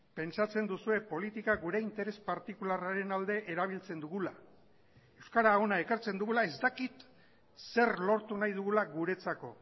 pentsatzen duzue politika gure interes partikularraren alde erabiltzen dugula euskara hona ekartzen dugula ez dakit zer lortu nahi dugula guretzako